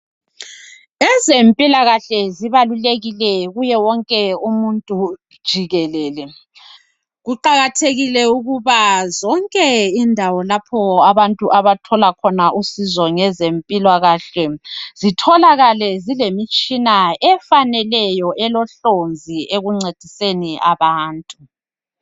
Ezempilakahle zibalulekile kuye wonke umuntu jikelele. Kuqakathekile ukuba zonke indawo lapho abantu abathola khona usizo ngezempilakahle, zitholakale zilemitshina efaneleyo elohlonzi ekuncediseni abantu.